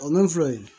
O man filɛ in